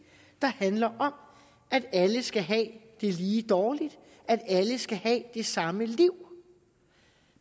der handler om at alle skal have det lige dårligt at alle skal have det samme liv